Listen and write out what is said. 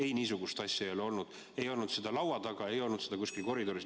Ei, niisugust asja ei ole olnud, ei olnud seda laua taga, ei olnud seda kuskil koridoris.